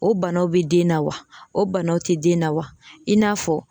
O banaw be den na wa , o banaw te den na wa i n'a fɔ